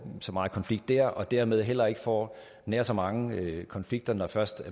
så meget konflikt der og dermed heller ikke får nær så mange konflikter når først